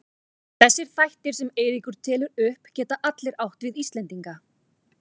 Þessir þættir sem Eiríkur telur upp geta allir átt við Íslendinga.